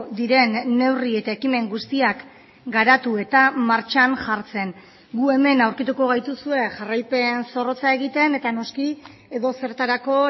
diren neurri eta ekimen guztiak garatu eta martxan jartzen gu hemen aurkituko gaituzue jarraipen zorrotza egiten eta noski edozertarako